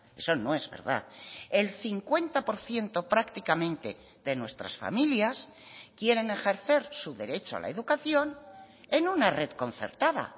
eso no es verdad el cincuenta por ciento prácticamente de nuestras familias quieren ejercer su derecho a la educación en una red concertada